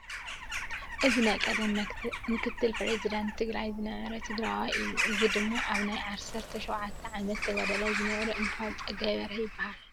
እዚ ናይ ቀደም ምክትል ፕረዚዳንት ትግራይ ዝነበረ ትግራዋይ እዩ። እዚ ድማ ኣብ ናይ ዓሰርተ ሸውዓተ ዓመት ተጋዳላይ ዝነበረ እንትኮን ፀጋይ በርሀ ይባሃል።